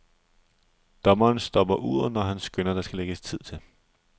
Dommeren stopper uret, når han skønner, der skal lægges tid til.